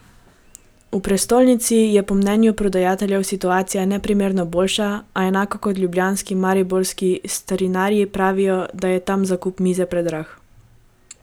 V prestolnici je po mnenju prodajalcev situacija neprimerno boljša, a, enako kot ljubljanski, mariborski starinarji pravijo, da je tam zakup mize predrag.